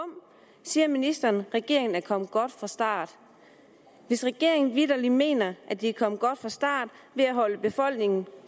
siger ministeren at regeringen er kommet godt fra start hvis regeringen vitterlig mener at den er kommet godt fra start ved at holde befolkningen